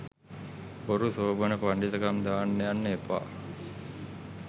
බොරු සෝබන පණ්ඩිතකම් දාන්න යන්න එපා.